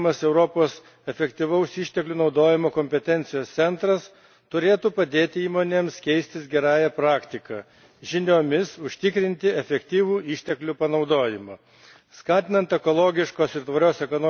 Tiek neformalūs tinklai, tiek steigiamas Europos efektyvaus išteklių naudojimo kompetencijos centras turėtų padėti įmonėms keistis gerąja praktika, žiniomis užtikrinti efektyvų išteklių panaudojimą.